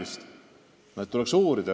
Nii et asja tuleks uurida.